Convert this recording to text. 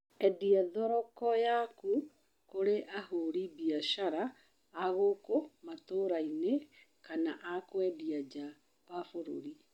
Endeia thoroko yaku kũri ahũri biashara a gũkũ matũrainĩ kana a kwendia nja wa bũruri